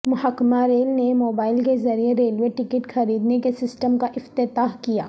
محکمہ ریل نے موبائل کے ذریعے ریلوے ٹکٹ خریدنے کے سسٹم کا افتتاح کیا